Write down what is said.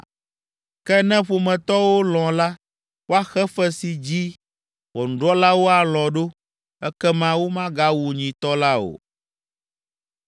Ke ne ƒometɔwo lɔ̃ la, woaxe fe si dzi ʋɔnudrɔ̃lawo alɔ̃ ɖo, ekema womagawu nyitɔ la o.